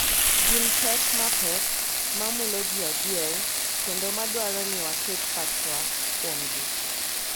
Gin pek mapek ma mulo ji adier kendo ma dwaro ni waket pachwa kuomgi.